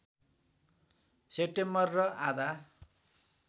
September र आधा